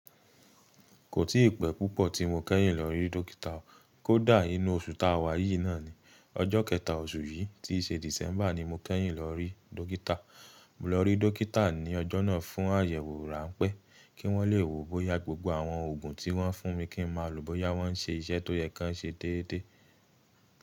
Kò tí ì pẹ́ púpọ̀ tí mo kẹ́yìn lọ rí dọ́kítà, kó dà inu oṣù ta wà yìí náà ni. Ọjọ́ kẹta oṣù yìí tí ṣe December ni mo kẹ́yìn lọ rí dọ́kítà. Mo lọ rí dọ́kítà ní ọjọ́ náà fún àyẹ̀wò ránpẹ́ kí wọ́n le wo bóyá gbogbo àwọn òògùn tí wọ́n fún mi kí n máa lò bóyá wọ́n ṣe iṣẹ́ tó yẹ kí wọ́n ṣe té́té.